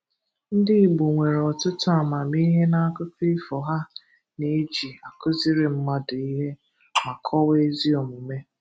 Ndị Igbo nwere ọtụtụ amamihe na akụkọ ifo ha na eji akuziri mmadu ihe ma kọwaa ezi omume.